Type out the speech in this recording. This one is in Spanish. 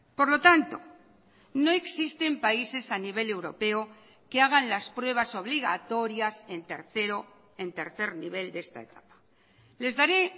por lo tanto no existen países a nivel europeo que hagan las pruebas obligatorias en tercero en tercer nivel de esta etapa les daré